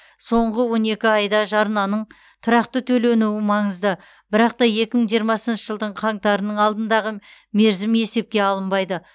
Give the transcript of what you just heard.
соңғы он екі айда жарнаның тұрақты төленуі маңызды бірақ та екі мың жиырмасыншы жылдың қаңтарының алдындағы мерзім есепке алынбайды